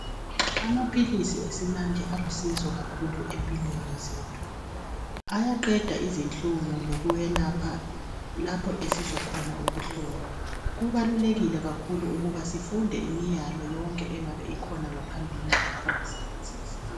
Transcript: Amaphilisi esimanje alusizo kakhulu empilweni zethu ayaqeda izihlungu lokwelapha lapho esizwa khona ubuhlungu kuqakathekile kakhulu ukuthi sifunde imiyalo yonke engabe ikhona ngaphambilini kokuwasebenzisa.